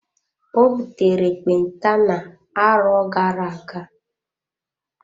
Ọ butere ekpenta na-arọ gara-aga.